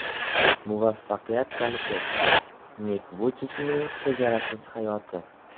Muvaffaqiyat kaliti: Nik Vuychichning chegarasiz hayoti.